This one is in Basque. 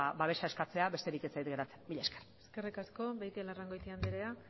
babesa eskatzea besterik ez zait geratzen mila esker eskerrik asko beitialarrangoitia andrea